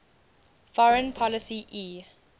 foreign policy e